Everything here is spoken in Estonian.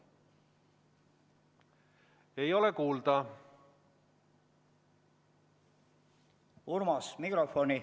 Ei ole kuulda.